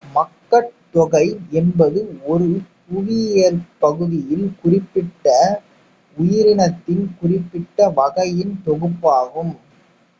மக்கட் தொகை என்பது ஒரு புவியியற் பகுதியில் குறிப்பிட்ட உயிரினத்தின் குறிப்பிட்ட வகையின் தொகுப்பு ஆகும்